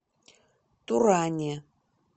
туране